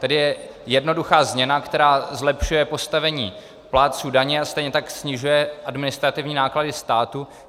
Tady je jednoduchá změna, která zlepšuje postavení plátců daně a stejně tak snižuje administrativní náklady státu.